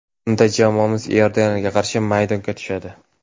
Unda jamoamiz Iordaniyaga qarshi maydonga tushadi.